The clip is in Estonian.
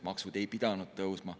Maksud ei pidanud tõusma.